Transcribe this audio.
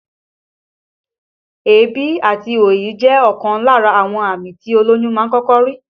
Èébì àti òyì jẹ́ ọ̀kan lára àwọn àmì tí olóyún máa ń kọ́kọ́ rí